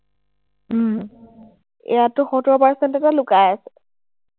ইয়াতো সত্তৰ percent এটা লুকাই আছে।